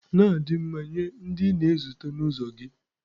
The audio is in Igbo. Na-adị mma nye ndị ị na-ezute na ụzọ gị.